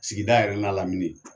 Sigida yɛrɛ n'a lamini